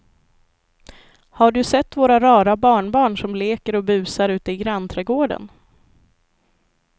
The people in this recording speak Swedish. Har du sett våra rara barnbarn som leker och busar ute i grannträdgården!